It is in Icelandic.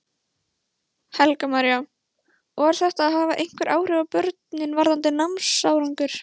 Helga María: Og er þetta að hafa einhver áhrif á börnin varðandi námsárangur?